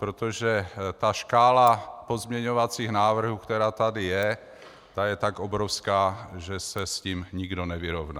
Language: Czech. Protože ta škála pozměňovacích návrhů, která tady je, je tak obrovská, že se s tím nikdo nevyrovná.